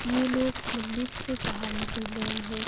ये लोग मंदिर से बाहर निकल रहे हैं।